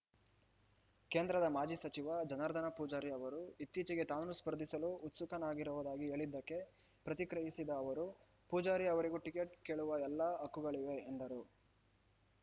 ಕೇಂದ್ರದ ಮಾಜಿ ಸಚಿವ ಜನಾರ್ದನ ಪೂಜಾರಿ ಅವರು ಇತ್ತೀಚೆಗೆ ತಾನೂ ಸ್ಪರ್ಧಿಸಲು ಉತ್ಸುಕನಾಗಿರುವುದಾಗಿ ಹೇಳಿದ್ದಕ್ಕೆ ಪ್ರತಿಕ್ರಿಯಿಸಿದ ಅವರು ಪೂಜಾರಿ ಅವರಿಗೂ ಟಿಕೆಟ್‌ ಕೇಳುವ ಎಲ್ಲ ಹಕ್ಕುಗಳಿವೆ ಎಂದರು